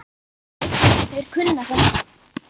Þeir kunna þetta.